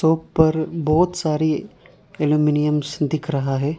ऊपर बहुत सारी एल्युमिनियम्स दिख रहा है।